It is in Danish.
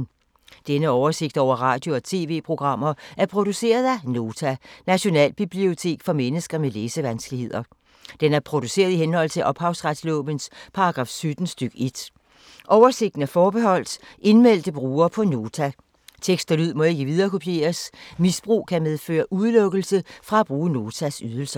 Denne oversigt over radio og TV-programmer er produceret af Nota, Nationalbibliotek for mennesker med læsevanskeligheder. Den er produceret i henhold til ophavsretslovens paragraf 17 stk. 1. Oversigten er forbeholdt indmeldte brugere på Nota. Tekst og lyd må ikke viderekopieres. Misbrug kan medføre udelukkelse fra at bruge Notas ydelser.